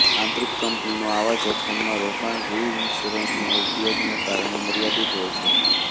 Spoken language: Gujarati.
આંતરિક કંપનીનું આવા જોખમમાં રોકાણ રિઇન્શ્યોરન્સના ઉપયોગને કારણે મર્યાદિત હોય છે